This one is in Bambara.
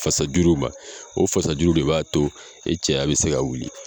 Fasa juru ma, o fasa juru de b'a to i cɛya be se ka wuli.